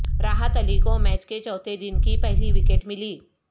راحت علی کو میچ کے چوتھے دن کی پہلی وکٹ ملی